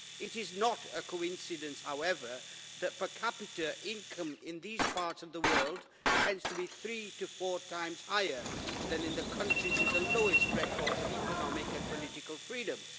It is not a coincidence, however, that per capita income in these parts of the world tends to be three to four times higher than in the countries with the lowest records of economic and political freedoms.